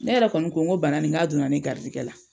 Ne yɛrɛ kɔni kun ko bana nin n ka donna ne garisigɛ la.